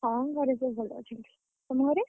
ହଁ ଘରେ ସବୁ ଭଲ ଅଛନ୍ତି ନା ସମସ୍ତେ?